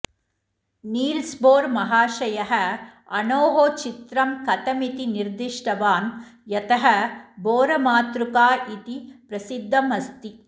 नील्स्बोर्महाशयः अणोः चित्रं कथमिति निर्दिष्टवान् यतः बोरमातृका इति प्रसिद्धमस्ति